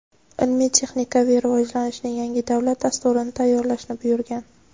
ilmiy-texnikaviy rivojlanishning yangi davlat dasturini tayyorlashni buyurgan.